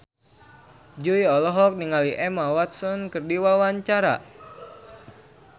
Jui olohok ningali Emma Watson keur diwawancara